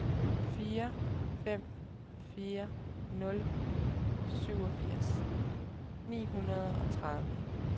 fire fem fire nul syvogfirs ni hundrede og tredive